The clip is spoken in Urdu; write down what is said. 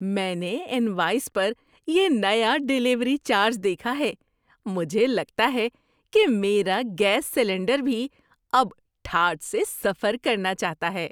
میں نے انوائس پر یہ نیا ڈیلیوری چارج دیکھا ہے۔ مجھے لگتا ہے کہ میرا گیس سلنڈر بھی اب ٹھاٹھ سے سفر کرنا چاہتا ہے!